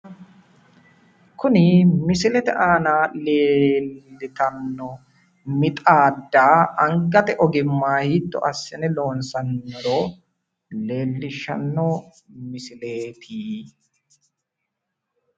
Tini misilete aana leeltanno mixaadda angate ogimmayi hiitto assine loonsanniro leellishsnno misileeti.